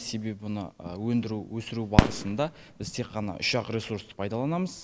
себебі оны өндіру өсіру барысында біз тек қана үш ақ ресурсты пайдаланамыз